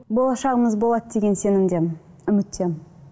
болашағымыз болады деген сенімдемін үміттемін